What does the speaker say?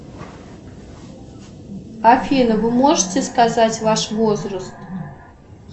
афина вы можете сказать ваш возраст